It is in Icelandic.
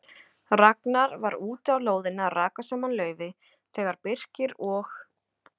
Ragnar var úti á lóðinni að raka saman laufi þegar Birkir og